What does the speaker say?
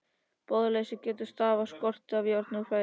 Blóðleysi getur stafað á skorti af járni úr fæðinu.